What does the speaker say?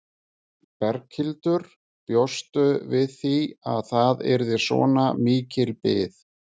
Berghildur: Bjóstu við því að það yrði svona mikil bið?